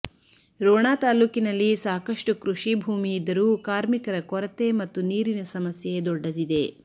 ರೋಣ ತಾಲ್ಲೂಕಿನಲ್ಲಿ ಸಾಕಷ್ಟು ಕೃಷಿ ಭೂಮಿ ಇದ್ದರೂ ಕಾರ್ಮಿಕರ ಕೊರತೆ ಮತ್ತು ನೀರಿನ ಸಮಸ್ಯೆ ದೊಡ್ಡದಿದೆ